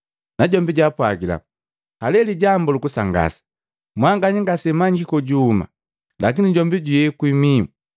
Najombi jaapwagila, “Haleli lijambu lukusangasa! Mwanganya ngasemmanyiiki kojuhuma, lakini jombi juyekwi mihu!